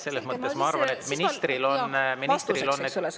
Selles mõttes ma arvan, et ministril on vastuseks …